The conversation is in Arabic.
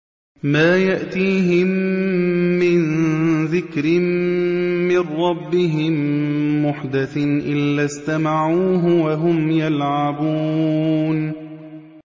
مَا يَأْتِيهِم مِّن ذِكْرٍ مِّن رَّبِّهِم مُّحْدَثٍ إِلَّا اسْتَمَعُوهُ وَهُمْ يَلْعَبُونَ